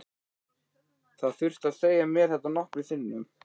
Það þurfti að segja mér þetta nokkrum sinnum.